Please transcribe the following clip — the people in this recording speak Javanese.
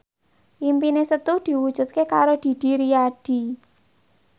impine Setu diwujudke karo Didi Riyadi